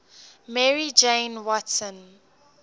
mary jane watson